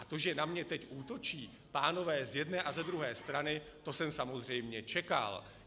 A to, že na mě teď útočí pánové z jedné a ze druhé strany, to jsem samozřejmě čekal.